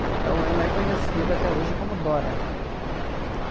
Então, ela é conhecida até hoje como Dora.